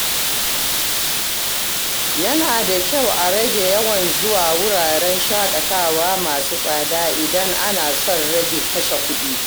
Yana da kyau a rage yawan zuwa wuraren shaƙatawa masu tsada idan ana son rage kashe kuɗi.